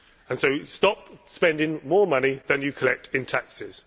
So stop spending more money than you collect in taxes.